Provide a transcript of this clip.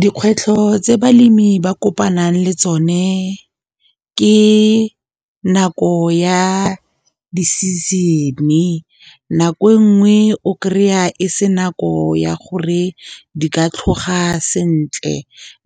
Dikgwetlho tse balemi ba kopanang le tsone ke nako ya di-season. Nako e nngwe o kry-a e se nako ya gore di ka tlhoga sentle,